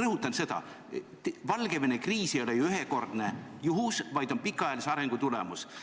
rõhutada, et Valgevene kriis ei ole ühekordne juhus, vaid pikaajalise arengu tulemus.